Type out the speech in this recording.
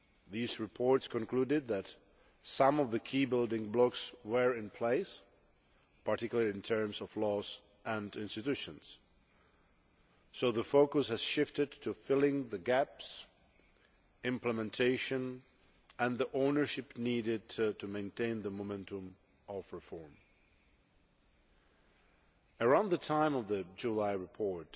These reports concluded that some of the key building blocks were in place, particularly in terms of laws and institutions, so the focus has shifted to filling the gaps implementation and the ownership needed to maintain the momentum of reform. Around the time of the July report,